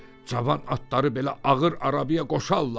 Cavan atları belə ağır arabaya qoşalllar?